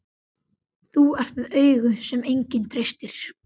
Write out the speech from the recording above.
Þú ert með augu sem enginn treystir.